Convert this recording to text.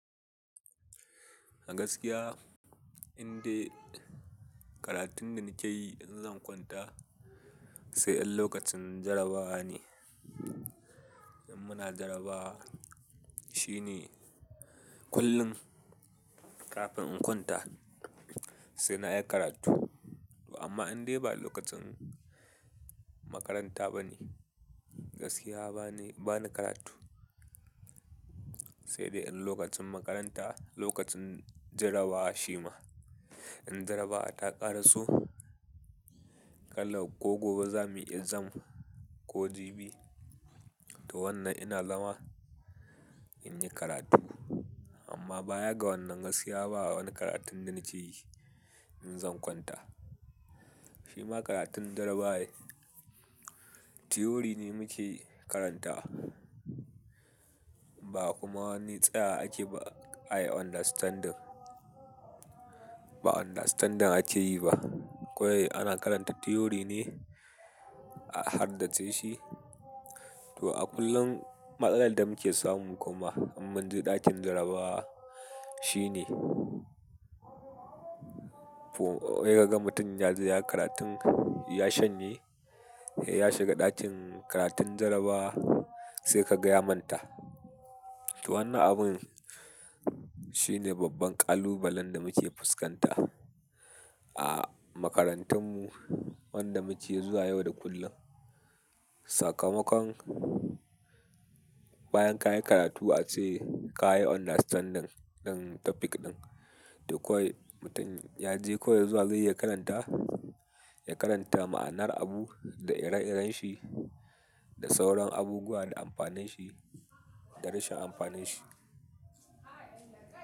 A gaskiya indai karatun da nake yi in zan kwanta sai in lokacin jarabawa ne. In muna jarabawa shine kullum kafin in kwanta sai na yi karatu. Amma indai ba lokacin makaranta ba ne, gaskiya ba ni, ba na karatu. Sai dai in lokacin makaranta, lokacin jarabawa shi ma in jarabawa ta ƙaraso kala ko gobe za muyi exam ko jibi to wannan ina zama in yi karatu. Amma baya ga wannan gaskiya babu wani karatun da nake yi in zan kwanta. Shi ma karatun jarabawa ne, theory ne muke karanta ba kuma wani tsaya ake ba ayi understandin. Ba understanding ake yi ba. Kwai ana karanta theory ne a harddace shi. To a kullum matsalar da muke samu kuma in mun je ɗakin jarabawa shine, wai ka ga mutum ya je ya yi karatun ya shanye, ya shiga ɗakin karatun jarabawa sai ka gaya manta. To wannan abun shine babban kalubalen da muke fuskanta a makarantunmu, wanda muke zuwa yau da kullum. Sakamakon bayan ka yi karatu ace ka yi understanding ɗin topic ɗin. To kwai mutum ya je koyausuwa zai iya karanta, ya karanta ma'anar abu da ire-iren shi da sauran abubuwa da amfanin shi da rashin amfanin shi.